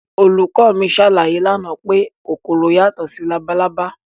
Olùkọ́ mi ṣàlàyé lánàá pé kòkòrò yàtọ̀ sí labalábá